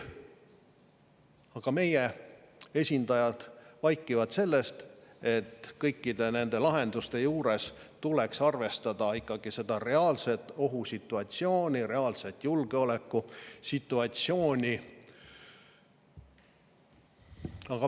Aga meie esindajad vaikivad sellest, et kõikide nende lahenduste juures tuleks arvestada ikkagi seda reaalset ohusituatsiooni, reaalset julgeolekusituatsiooni.